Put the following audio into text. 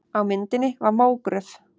Á myndinni var mógröf.